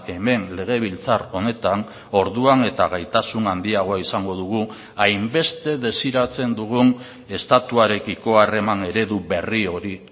hemen legebiltzar honetan orduan eta gaitasun handiagoa izango dugu hainbeste desiratzen dugun estatuarekiko harreman eredu berri hori